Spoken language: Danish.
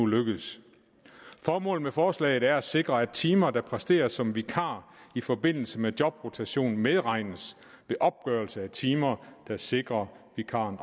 lykkedes formålet med forslaget er at sikre at timer der præsteres som vikar i forbindelse med jobrotation medregnes ved opgørelse af timer der sikrer vikaren